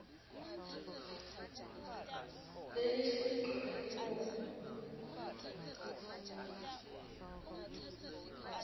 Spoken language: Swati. lelihle ligcwala tibungu